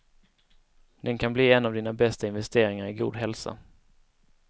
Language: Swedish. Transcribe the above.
Den kan bli en av dina bästa investeringar i god hälsa.